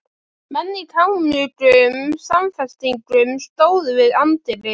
Menn í kámugum samfestingum stóðu við anddyri.